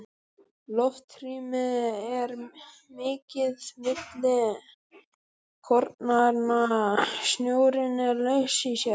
Loftrými er mikið milli kornanna, snjórinn er laus í sér.